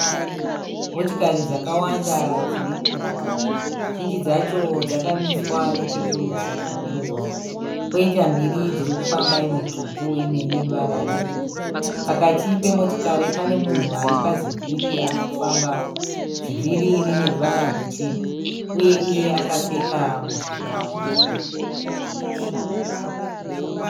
Motokari dzakawanda dziri mumugwagwa. Zhinji dzacho dzakamiswa nechekurutivi kwomugwagwa, kwoita mbiri dziri kufamba imwe tsvuku imwe ine ruvara rwebhuruu. Pakati pemotokari pane munhu ari pazivhiri ari kufambawo. Zivhiri rine ruvara rutema uye iye akapfeka mujivha mutema.